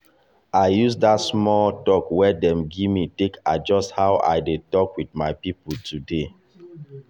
i use that talk wey dem give me take adjust how i dey talk with my people today.